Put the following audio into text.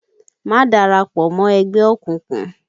Má dara pọ̀ mọ́ ẹgbẹ́ òkùnkùn!